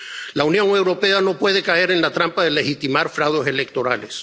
La Unión Europea no puede caer en la trampa de legitimar fraudes electorales.